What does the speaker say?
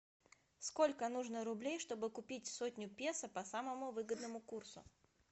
сколько нужно рублей чтобы купить сотню песо по самому выгодному курсу